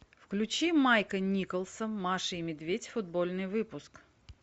включи майка николса маша и медведь футбольный выпуск